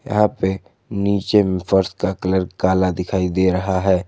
यहां पे नीचे में फर्श का कलर काला दिखाई दे रहा है।